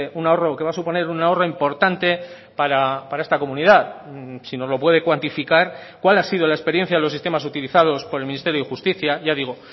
un ahorro que va a suponer un ahorro importante para esta comunidad si nos lo puede cuantificar cuál ha sido la experiencia de los sistemas utilizados por el ministerio de justicia ya digo